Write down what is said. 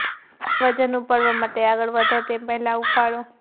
ભારે વજન ઉપાડવા માટે આગળ વધો તે પહેલાં હૂંફાળો